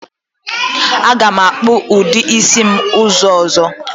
Aga m akpu udi isi m uzu ozo.